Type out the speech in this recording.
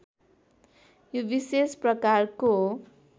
यो विशेष प्रकारको